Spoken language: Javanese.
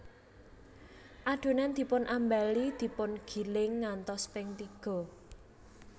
Adonan dipun ambali dipun giling ngantos ping tiga